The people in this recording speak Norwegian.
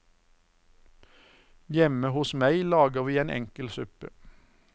Hjemme hos meg lager vi en enkel suppe.